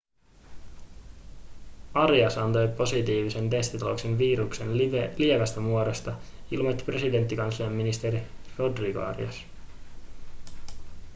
arias antoi positiivisen testituloksen viruksen lievästä muodosta ilmoitti presidentinkanslian ministeri rodrigo arias